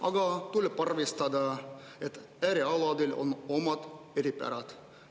Aga tuleb arvestada, et äärealadel on omad eripärad.